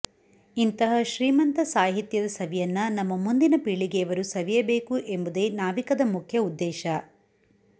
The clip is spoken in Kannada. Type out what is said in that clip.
ಇಂತಹ ಶ್ರೀಮಂತ ಸಾಹಿತ್ಯದ ಸವಿಯನ್ನ ನಮ್ಮ ಮುಂದಿನ ಪೀಳಿಗೆಯವರು ಸವಿಯಬೇಕು ಎಂಬುದೇ ನಾವಿಕದ ಮುಖ್ಯ ಉದ್ದೇಶ